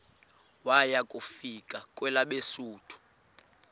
waya kufika kwelabesuthu